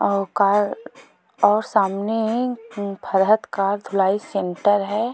और कार और सामने फरहत का धुलाई का सेंटर है।